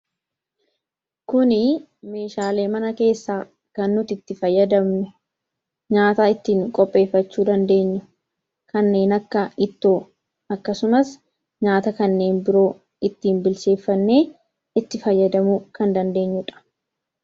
Kun meeshaalee mana keessaa kan nuti ittiin nyaata qopheeffachuu dandeenyu dha. Innis nyaata kaneen akka ittoo fi nyaata kanneen biroo ittiin kan qopheeffannuu dha.